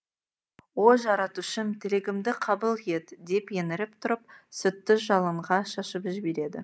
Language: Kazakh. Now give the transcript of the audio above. о жаратушым тілегімді қабыл ет деп еңіріп тұрып сүтті жалынға шашып жібереді